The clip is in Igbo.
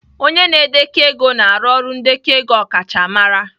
Onye na-edekọ ego na-arụ ọrụ ndekọ ego ọkachamara